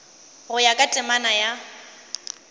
go ya ka temana ya